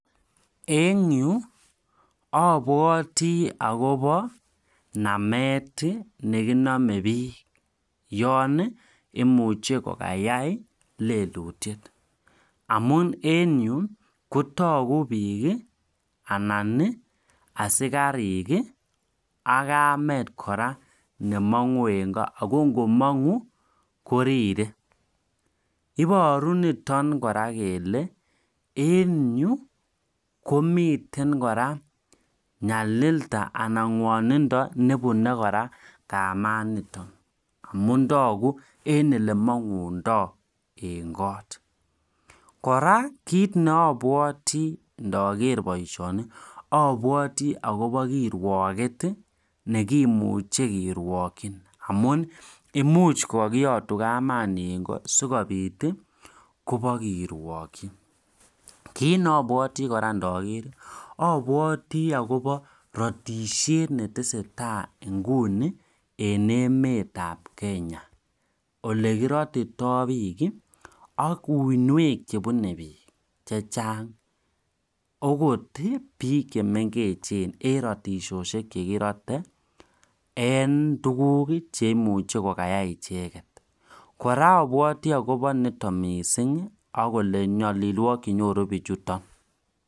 Eng yu abwoti akobo namet ii nekinamei bik yan imuche kokayai lelutiet amun en yu kotaku bik anan asikarik ak Kamet kora nemangu NGO ako rire ako kora en yu komiten kora nyalilda nebune kora kamet notok amu toku olemang'undoi eng kot abwoti akobo kirwaget neo ak abwoti akobo ratishet netesetai eng emet ab Kenya olekiratitoi bik ak uinwek chebune bik akot bik chemengech cheimuchi kokayai icheket ak abwoti akobo nyalilwokik chenyoru bichuton